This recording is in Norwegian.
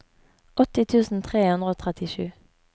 åtti tusen tre hundre og trettisju